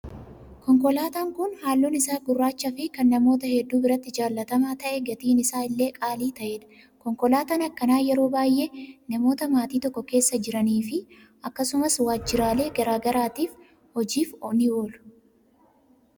Konkolaataan kun halluun isaa gurraachaa fi kan namoota hedduu biratti jaallatamaa ta'ee gatiin isaallee qaalii ta'edha. Konkolaataan akkanaa yeroo baay'ee namoota maatii tokko keessa jiranii fi akkasumas waajjiraalee garaagaraatiif hojiif ni oolu.